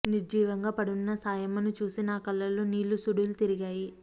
నిర్జీవంగా పడున్న సాయమ్మను చూసి నా కళ్ళల్లో నీళ్ళు సుడులు తిరిగాయి